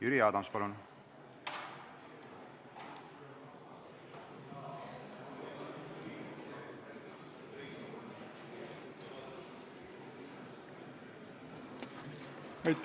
Jüri Adams, palun!